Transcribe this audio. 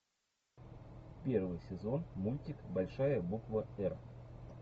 первый сезон мультик большая буква р